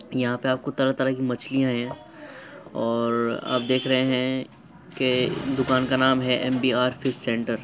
यहा पे आपको तरह तरह की मछलिया हैं और आप देख रहे हैं के दुकान का नाम है एमबीआर फिश सेंटर --